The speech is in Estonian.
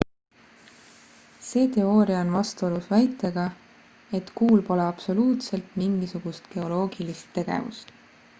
see teooria on vastuolus väitega et kuul pole absoluutselt mingisugust geoloogilist tegevust